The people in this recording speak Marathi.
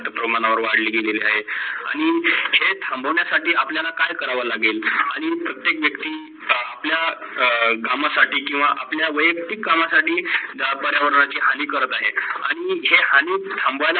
प्रमाणे वाढले गेलेली आहे. आणी हे थांबवन्या साठी आपल्याला काय करावा लागेल? हे प्रत्येक वयक्ती आपल्या कामासाठी किव्वा आपल्या वयक्तीत कामासाठी ज्या पर्यावरणाची हानी कर ते आहेत आणी जे हानी थांबवण्यात